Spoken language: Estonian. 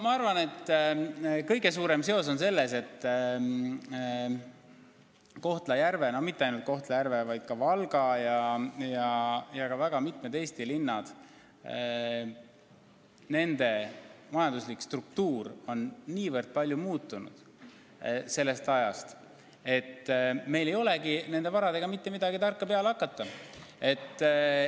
Ma arvan, et kõige suurem seos on selles, et Kohtla-Järve – ja mitte ainult Kohtla-Järve, vaid ka Valga ja veel väga mitme Eesti linna – majanduslik struktuur on nii palju muutunud, et meil ei olegi nende varadega mitte midagi tarka peale hakata.